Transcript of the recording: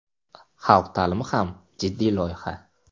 Xalq ta’limi ham jiddiy loyiha.